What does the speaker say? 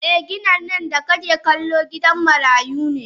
Eh ginin nan da kake kallo gidan marayu ne.